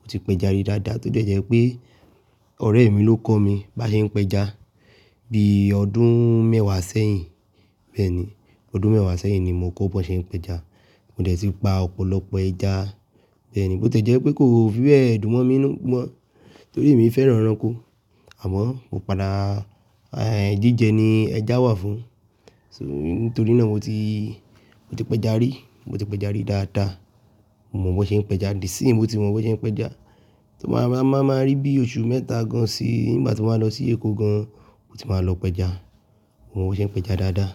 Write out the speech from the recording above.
Mo ti pẹja rí dáadáa to de jẹ́ pé —ọ̀rẹ́ mi ló kọ́ mi bá ṣe ń pẹja. Bí ọdún mẹ́wàá sẹ́yìn. Bẹ́ẹ̀ni, —ọdún mẹ́wàá sẹ́yìn ni mo kọ́ bó ṣe ń pẹja. Mo dẹ̀ tí pa ọ̀pọ̀lọpọ̀ ẹja. Bẹ́ẹ̀ni, bó ti jẹ́ pé kò fi bẹ́ẹ̀ dùn mọ́ mi 'nu mọ́ torí èmi fẹ́ràn ẹranko. Àmọ́ kò padà, —ẹìń jíjẹ ni ẹja wà fún. So, nítorí náà mo ti— mo ti pẹja rí, mo ti pẹja rí dáadáa. Mo mọ̀ bó ṣe ń pẹja. Dì sí, mo ti mọ̀ bó ṣe ń pẹja. Tí ó máa, máa, máa rí bí oṣù mẹ́ta gan an sí, nígbà tí mo báa lọ sí Èkó gan an, mo ti máa lọ pẹja. Mo mọ̀ bó ṣe ń pẹja dáadáa.